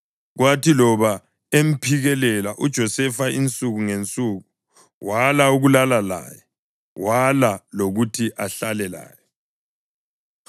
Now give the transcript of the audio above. Kwathi loba emphikelela uJosefa insuku ngensuku, wala ukulala laye wala lokuthi ahlale laye.